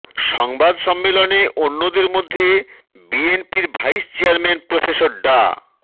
সংবাদ সম্মেলনে অন্যদের মধ্যে বিএনপির ভাইস চেয়ারম্যান প্রফেসর ডা